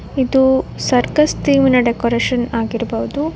ಇದು circus theme ನ decoration ಆಗಿರಬಹುದು.